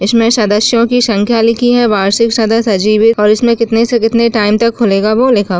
इसमें सदस्यों की संख्या लिखी है वार्षिक सदस्य अजीब है और इसमें कितने-कितने से कितने टाइम तक खुलेगा वो लिखा --